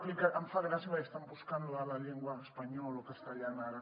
em fa gràcia perquè estan buscant lo de la llengua espanyola o castellana ara